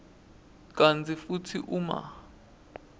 kantsi futsi uma